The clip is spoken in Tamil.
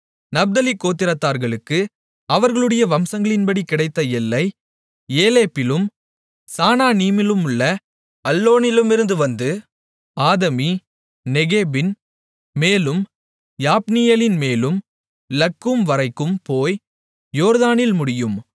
நப்தலி கோத்திரத்தார்களுக்கு அவர்களுடைய வம்சங்களின்படி கிடைத்த எல்லை ஏலேப்பிலும் சானானிமிலுள்ள அல்லோனிலுமிருந்து வந்து ஆதமி நெக்கேபின் மேலும் யாப்னியேலின்மேலும் லக்கூம்வரைக்கும் போய் யோர்தானில் முடியும்